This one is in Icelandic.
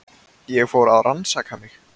Ég fór að rannsaka mig.